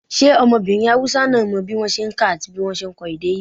ṣe ọmọbirin Hausa náà mọ bí wọ́n ṣe n kà àti bí wọ́n ṣe n kọ èdè íbò?